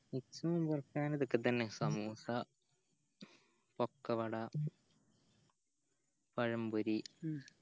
നോമ്പ് തുറക്കാൻ ഇതൊക്കെ തന്നെ ഉം സമൂസ പൊക്കവട ഉം പഴംപൊരി ഉം